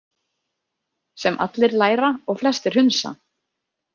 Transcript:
Sem allir læra og flestir hunsa.